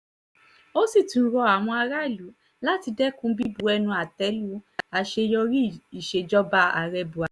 ó sì tún rọ àwọn aráàlú láti dẹ́kun bíbu ẹnu àtẹ lu àṣeyọrí ìsejọba ààrẹ buhari